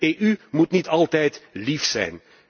De EU moet niet altijd lief zijn.